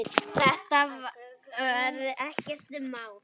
Þetta verði ekkert mál.